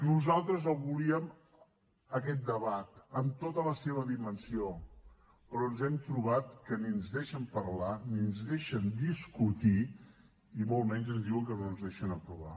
nosaltres el volíem aquest debat amb tota la seva dimensió però ens hem trobat que ni ens deixen parlar ni ens deixen discutir i molt menys ens diuen que no ens ho deixen aprovar